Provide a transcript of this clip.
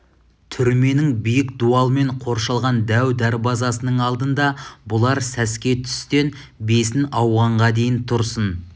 түрменің биік дуалмен қоршалған дәу дарбазасының алдында бұлар сәске түстен бесін ауғанға дейін тұрсын